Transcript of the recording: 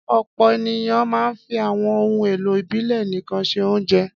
Ọ̀pọ̀ ènìyàn máa ń fi àwọn ohun-èlò ìbílẹ̀ nìkan se oúnjẹ.